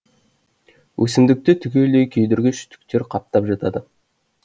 өсімдікті түгелдей күйдіргіш түктер қаптап жатады